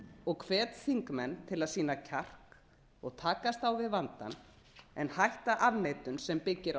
og hvet þingmenn til að sýna kjark og takast á við vandann en hætta afneitun sem byggist á